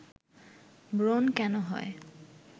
ব্রন কেন হয়